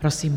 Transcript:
Prosím.